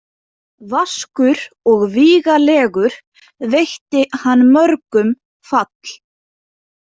Vaskur og vígalegur veitti hann mörgum fall.